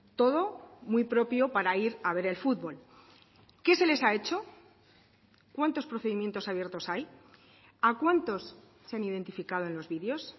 todo muy propio para ir a ver el fútbol qué se les ha hecho cuántos procedimientos abiertos hay a cuántos se han identificado en los videos